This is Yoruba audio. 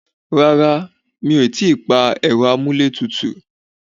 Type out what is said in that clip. Rárá, mi o ti pa ẹ̀rọ amúlé tutù.